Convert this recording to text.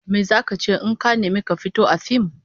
Me zaka ce in aka nemi ka fito a fim?